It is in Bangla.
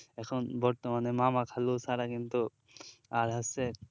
এখন বর্তমানে মামা খালু ছাড়া কিন্তু আর হচ্ছে